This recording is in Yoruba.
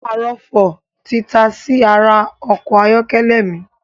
Arọ̀fọ̀ tí tasí ara ọkọ̀ ayọ́kẹ́lẹ̀ mi